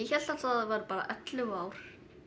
hélt alltaf að það væru bara ellefu ár